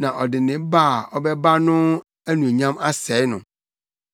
na ɔde ne ba a ɔbɛba no mu anuonyam asɛe no.